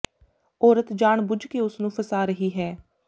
ਔਰਤ ਜਾਣ ਬੁੱਝ ਕੇ ਉਸ ਨੂੰ ਫਸਾ ਰਹੀ ਹੈ